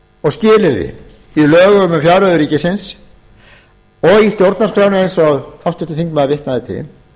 og skilyrði í lögum um fjárreiður ríkisins og í stjórnarskránni sem háttvirtur þingmaður vitnaði til